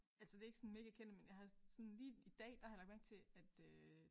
Altså det er ikke sådan mega kendte men jeg har sådan lige i dag der har jeg lagt mærke til at øh